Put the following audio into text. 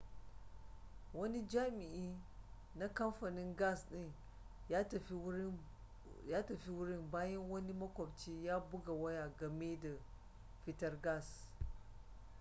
wani jami'i na kamfanin gas din ya tafi wurin bayan wani makwabci ya buga waya game da fitar gas